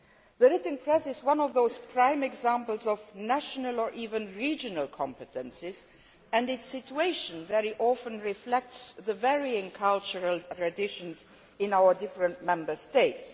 The written press is one of those prime examples of national, or even regional, competences and its situation very often reflects the varying cultural traditions in our different Member States.